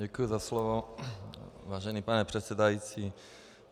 Děkuji za slovo, vážený pane předsedající.